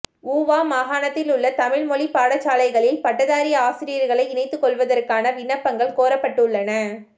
ஊவா மாகாணத்திலுள்ள தமிழ் மொழி பாடசாலைகளில் பட்டதாரி ஆசிரியர்களை இணைத்துக்கொள்வதற்கான விண்ணப்பங்கள் கோரப்பட்டுள்ளன